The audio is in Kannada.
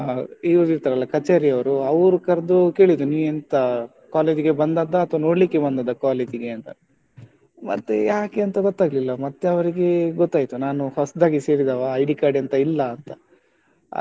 ಇವರಿರ್ತಾರಲ್ಲ ಕಚೇರಿಯವರು ಅವ್ರು ಕರ್ದು ಕೇಳಿದ್ರು ನೀ ಎಂತ college ಗೆ ಬಂದದ್ದಾ ಅಥವಾ ನೋಡ್ಲಿಕ್ಕೆ ಬಂದದ್ದಾ college ಗೆ ಅಂತ? ಮತ್ತೇ ಯಾಕೆ ಅಂತ ಗೊತ್ತಾಗ್ಲಿಲ್ಲ ಮತ್ತೆ ಅವ್ರಿಗೆ ಗೊತ್ತಾಯ್ತು ನಾನು ಹೊಸದಾಗಿ ಸೇರಿದವ ID card ಎಂತ ಇಲ್ಲ ಅಂತ ಹಾಗೆ,